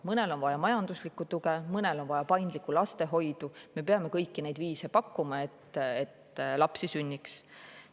Mõnel on vaja majanduslikku tuge, mõnel on vaja paindlikku lastehoidu, me peame kõiki neid viise pakkuma, et lapsi sünniks.